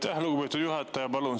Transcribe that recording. Aitäh, lugupeetud juhataja!